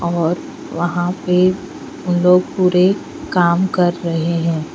और वह पे वो लोग पुरे काम कर रहे है.